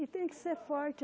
E tem que ser forte.